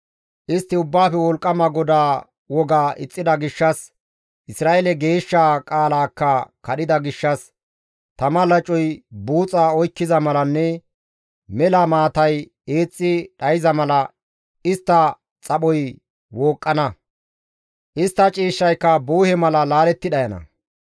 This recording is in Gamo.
Istti Ubbaafe Wolqqama GODAA wogaa ixxida gishshas, Isra7eele Geeshshaa qaalaakka kadhida gishshas, tama lacoy buuxa oykkiza malanne mela maatay eexxi dhayza mala istta xaphoy wooqqana; istta ciishshayka buhe mala laaletti dhayana;